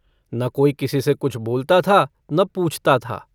न कोई किसी से कुछ बोलता था न पूछता था।